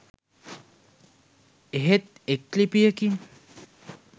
එහෙත් එක් ලිපියකින්